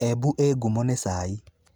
Embu ĩĩ ngumo nĩ cai.